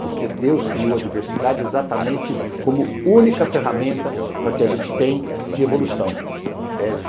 Porque Deus criou a diversidade exatamente como única ferramenta para que a gente tenha de evolução.